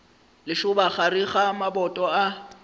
lešoba gare ga maboto a